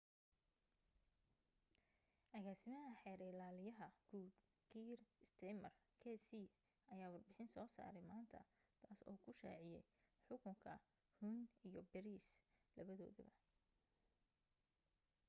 agaasimaha xeer ilaaliyaha guud, kier starmer qc ayaa warbixin soo saaray maanta taas oo uu ku shaaciyay xukunka huhne iyo pryce labadoodaba